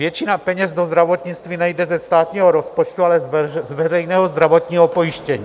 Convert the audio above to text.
Většina peněz do zdravotnictví nejde ze státního rozpočtu, ale z veřejného zdravotního pojištění.